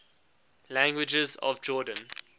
languages of jordan